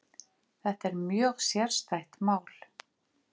Þetta er mjög sérstætt mál